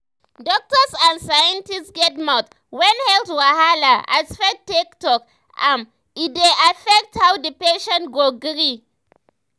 doktors and and scientists get mouth when health wahala as faith take talk am e dey affect how the patient go gree.